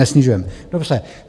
Nesnižujeme. Dobře.